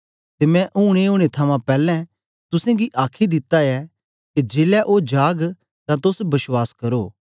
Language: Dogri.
ते मैं ऊन ए ओनें थमां पैलैं तुसेंगी आखी दिता ऐ के जेलै ओ जाग तां तोस बश्वास करो